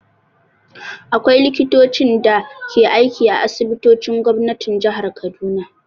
Akwai Likitocin da ke aiki a asibitocin gwamnatin jihar Kaduna.